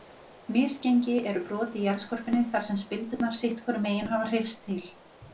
Misgengi eru brot í jarðskorpunni þar sem spildurnar sitt hvorum megin hafa hreyfst til.